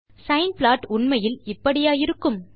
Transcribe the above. sign plot உண்மையில் இப்படியா இருக்கும்